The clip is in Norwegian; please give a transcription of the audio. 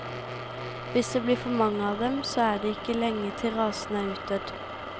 Hvis det blir for mange av dem, så er det ikke lenge til rasen er utdødd.